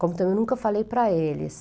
Como que eu nunca falei para eles.